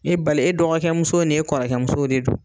E bali, e dɔgɔke muso ni e kɔrɔkɛ musow de don.